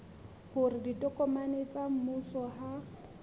hore ditokomane tsa mmuso ha